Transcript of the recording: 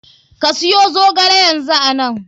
Ka siyo zogale yanzu ana.